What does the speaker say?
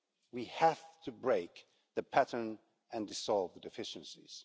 We have to break the pattern and dissolve the deficiencies.